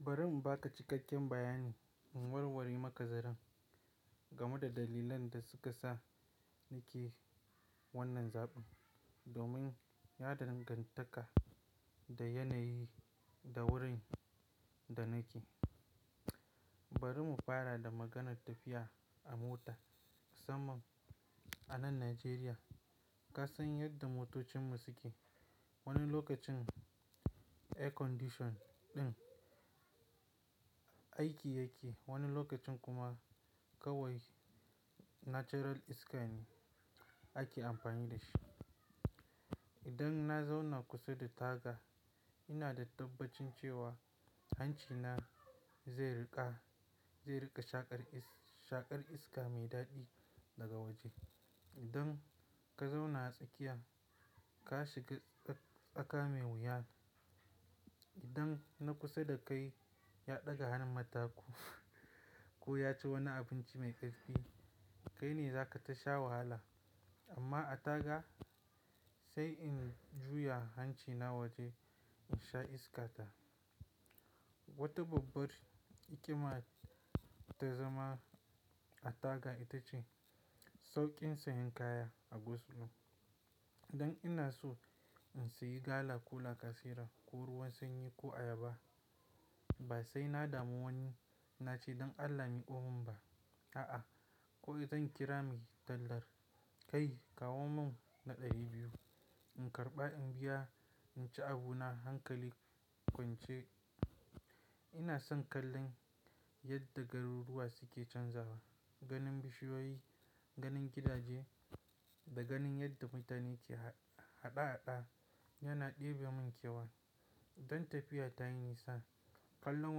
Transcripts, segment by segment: Bari in ba ka cikakken bayani in warwari maka zaren game da dalilan da suka sa nike wannan zaɓin. Domin ya dangantaka da yanayi da wurin da nake. Bari mu fara da maganar tafiya a mota. Saman a nan Najeriya ka san yadda motocinmu suke. Wani lokacin air condition ɗin aiki yake, wani lokacin kuma kawai natural iska ne ake amfani da shi. Idan na zauna kusa da taga ina da tabbacin cewa hancina zai riƙa, zai riƙa shaƙar iska mai daɗi daga waje. Idan ka zauna a tsakiya ka shiga tsaka mai wuya. Idan na kusa da kai ya ɗaga hannun mataku ko ya ci wani abinci mai ƙarfi, kai ne za ka tasha wahala. Amma a taga sai in juya hancina waje in sha iskata. Wata babbar ikama ta zama a taga ita ce sauƙin siyan kaya a go slom. Idan ina so in sayi gala ko lacasera ko ruwan sanyi ko ayaba ba sai na damu wani na ce "dan Allah me ko mun ba, a'a ko idan kira mai tallar. Kai kawo mun na ɗari biyu." In karɓa in biya, in ci abu na, hankali in kwance. Ina son kallon yadda garuruwa suke canzawa. Ganin bishiyoyi, ganin gidaje da ganin yadda mutane ke haɗa-haɗa yana ɗebe mun kewa. Don tafiya tayi nisa kallon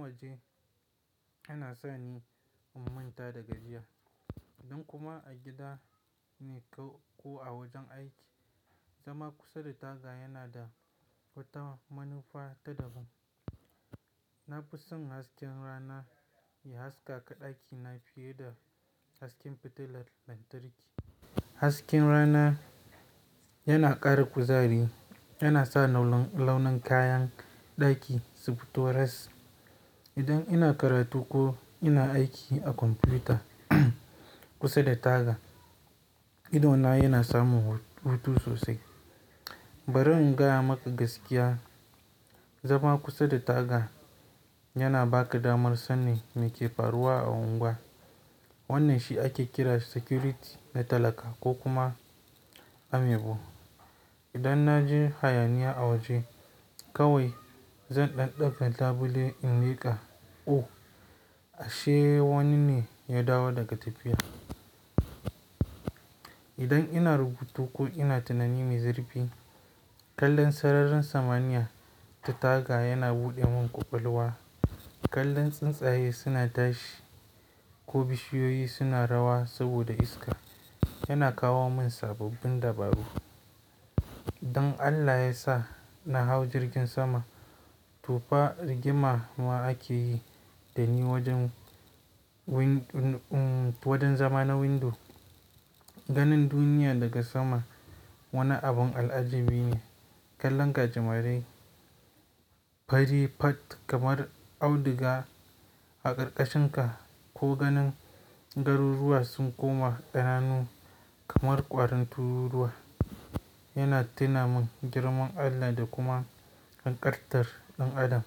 waje yana sa ni in manta da gajiya. Don kuma a gida ne ko a wajen aiki, zama kusa da taga yana da wata manufa ta daban. Na fi son hasken rana ya haskaka ɗakina fiye da hasken fitilar lantarki. Hasken rana yana ƙara kuzari. Yana sa launan kayan ɗaki su fito res. Idan ina karatu ko ina aiki a kwamfuta kusa da taga, idona yana samun hutu sosai. Bari in gaya maka gaskiya, zama kusa da taga yana baka damar sannan me ke faruwa a unguwa. Wannan shi ake kira security na talaka ko kuma amibu. Idan na ji hayaniya a waje kawai zan ɗanɗaga tabule in leƙa. Oh ashe wani ne ya dawo daga tafiya. Idan ina rubutu ko ina tunani mai zurfi, kallon sararin samaniya ta taga yana buɗe mun kwakwalwa. Kallon tsuntsaye suna tashi ko bishiyoyi suna rawa saboda iska yana kawo mun sababbin dabaru. Dan Allah ya sa na hau jirgin sama to fa rigima ma ake yi da ni wajen, um, wajen zama na window. Ganin duniya daga sama wani abun al'ajabi ne. Kallon gajimarai, fari fat kamar auduga a ƙarƙashinka ko ganin garuruwa sun koma ƙananu kamar ƙwarin tururuwa yana tuna mun girman Allah da kuma hanƙartar ɗan adam.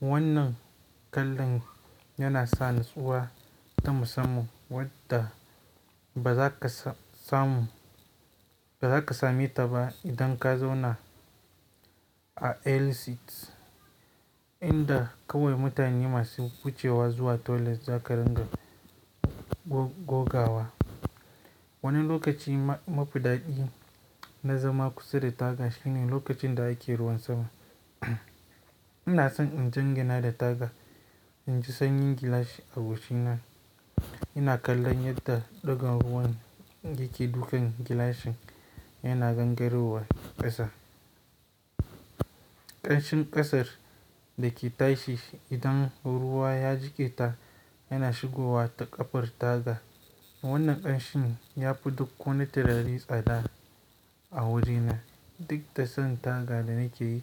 Wannan kallon yana sa natsuwa ta musamman wadda ba za ka samu, ba za ka same ta ba idan ka zauna a aisle seats inda kawai mutane masu wuce wa zuwa toilet za ka ringa gog gogawa. Wani lokaci ma mafi ɗaɗi na zama kusa da taga shine lokacin da ake ruwan sama. Ina son in jangina da taga in ji sanyin gilashi a goshina. Ina kallon yadda ɗigan ruwan yake dukan gilashin yana gangaro wa ƙasa. Ƙanshin ƙasar da ke tashi idan ruwa ya jiƙe ta yana shigowa ta ƙafar taga. Wannan ƙanshin ya fi duk wani tirari tsada a wajena. Duk da san taga da nake yi.